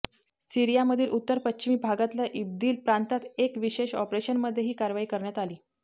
सिरीयामधील उत्तर पश्चिमी भागातल्या इदबील प्रातांत एक विशेष ऑपरेशनमध्ये ही कारवाई करण्यात आली